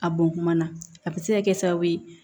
A bɔn kuma na a bɛ se ka kɛ sababu ye